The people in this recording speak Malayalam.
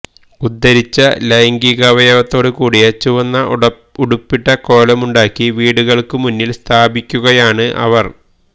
ഉദ്ധരിച്ച ലൈംഗികാവയത്തോടുകൂടിയ ചുവന്ന ഉടുപ്പിട്ട കോലമുണ്ടാക്കി വീടുകൾക്ക് മുന്നിൽ സ്ഥാപിക്കുകയാണ് അവർ